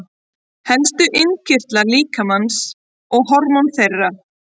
Helstu innkirtlar líkamans og hormón þeirra.